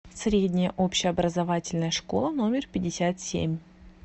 средняя общеобразовательная школа номер пятьдесят семь